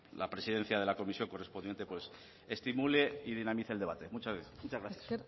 la presencia de la comisión correspondiente estimule y dinamice el debate muchas gracias